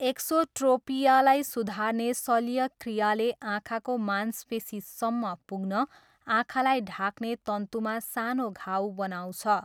एक्सोट्रोपियालाई सुधार्ने शल्यक्रियाले आँखाको मांसपेसीसम्म पुग्न आँखालाई ढाक्ने तन्तुमा सानो घाउ बनाउँछ।